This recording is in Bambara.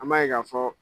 An b'a ye k'a fɔ